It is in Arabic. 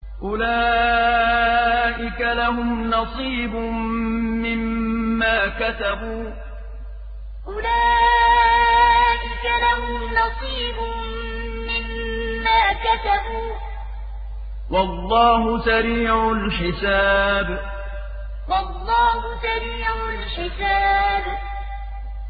أُولَٰئِكَ لَهُمْ نَصِيبٌ مِّمَّا كَسَبُوا ۚ وَاللَّهُ سَرِيعُ الْحِسَابِ أُولَٰئِكَ لَهُمْ نَصِيبٌ مِّمَّا كَسَبُوا ۚ وَاللَّهُ سَرِيعُ الْحِسَابِ